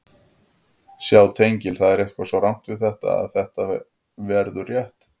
Sjá tengil Það er eitthvað svo rangt við þetta að þetta verður rétt.